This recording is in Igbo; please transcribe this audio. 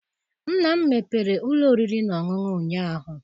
Nna m mepere ụlọ oriri na ọṅụṅụ ụnyaahụ.